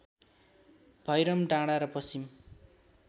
भैरम डाँडा र पश्चिम